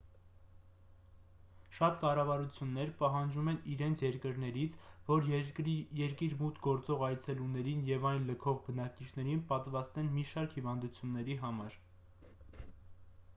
շատ կառավարություններ պահանջում են իրենց երկրներից որ երկիր մուտք գործող այցելուներին և այն լքող բնակիչներին պատվաստեն մի շարք հիվանդությունների համար